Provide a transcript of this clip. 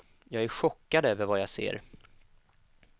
Jag är chockad över vad jag ser.